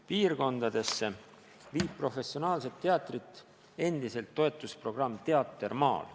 Piirkondadesse viib professionaalset teatrit endiselt toetusprogramm "Teater maal".